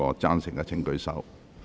贊成的請舉手。